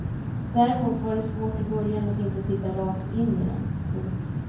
Däremot var det svårt i början att inte titta rakt in i den. punkt